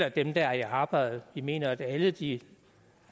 og dem der er i arbejde vi mener det er alle de